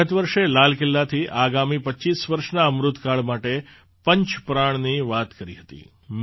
મેં ગત વર્ષે લાલ કિલ્લાથી આગામી ૨૫ વર્ષના અમૃત કાળ માટે પંચ પ્રાણની વાત કરી હતી